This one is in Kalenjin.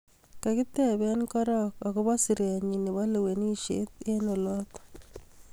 Kakitebe korok akobo siret nyi nebo lewenishet eng olot.